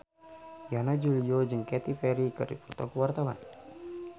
Yana Julio jeung Katy Perry keur dipoto ku wartawan